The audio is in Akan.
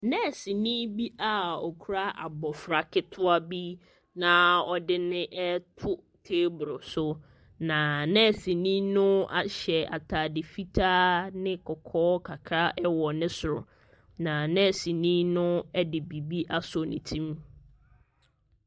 Nɛɛseni bi a ɔkura abɔfra ketewa bi, na ɔde no reto teebolo so. Na nɛɛseni no ahyɛ atade fitaa ne kɔkɔɔ kakra wɔ ne soro. Na nɛɛseni no de biribi asɔ ne tirim.